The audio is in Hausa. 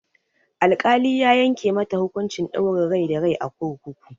Al-kali ya yanke mata hukunci ɗaurin rai da rai a kurkuku